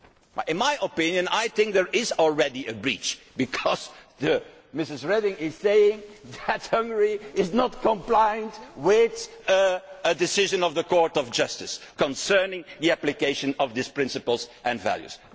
2'. I think there is already a breach, because Mrs Reding is saying that Hungary is not complying with a decision of the Court of Justice concerning the application of these principles and values.